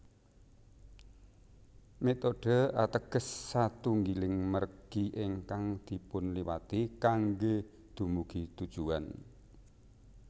Metode ateges satunggiling mergi ingkang dipunliwati kanggé dumugi tujuwan